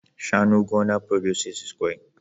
shanu gona producesses kwai